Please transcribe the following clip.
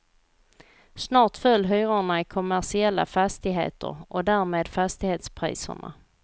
Snart föll hyrorna i kommersiella fastigheter, och därmed fastighetspriserna.